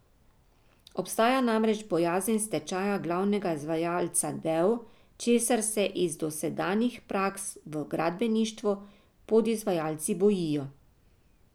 Obstaja namreč bojazen stečaja glavnega izvajalca del, česar se iz dosedanjih praks v gradbeništvu podizvajalci bojijo.